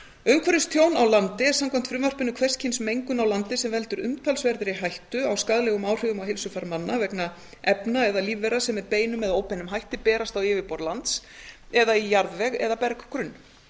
umhverfistjón á landi er samkvæmt frumvarpinu hvers kyns mengun á landi sem veldur umtalsverðri hættu á skaðlegum áhrifum á heilsufar manna vegna efna eða lífvera sem með beinum eða óbeinum hætti berast á yfirborð lands eða í jarðveg eða berggrunn